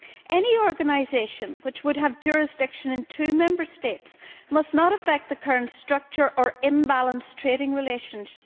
Any organisation which would have jurisdiction in two Member States must not affect the current structure or disturb the balance in trading relations.